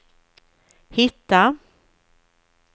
hitta